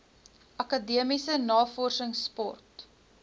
akademiese navorsings sport